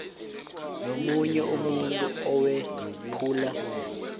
nomunye umuntu owephula